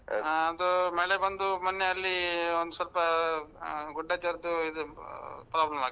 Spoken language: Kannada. ಅದು ಮಳೆ ಬಂದೂ, ಮೊನ್ನೆ ಅಲ್ಲೀ ಒಂದ್ ಸ್ವಲ್ಪಾ ಆ ಗುಡ್ಡ ಜರ್ದು ಇದು ಆ problem ಆಗಿದೆ.